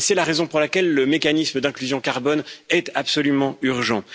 C'est la raison pour laquelle le mécanisme d'inclusion carbone est absolument urgent.